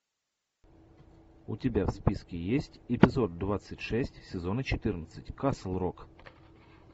у тебя в списке есть эпизод двадцать шесть сезона четырнадцать касл рок